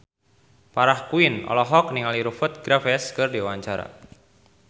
Farah Quinn olohok ningali Rupert Graves keur diwawancara